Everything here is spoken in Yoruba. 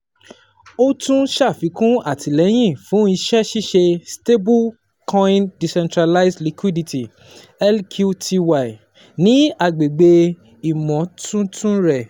O tun ṣafikun atilẹyin fun iṣẹ-ṣiṣe stablecoin decentralized Liquity (LQTY) ni agbegbe imotuntun rẹ.